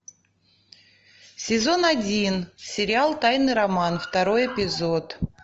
сезон один сериал тайный роман второй эпизод